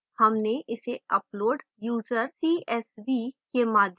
हमने इसे upload user csv के माध्यम से किया